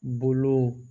Bolow